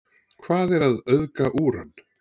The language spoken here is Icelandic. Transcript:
Hvað er að auðga úran?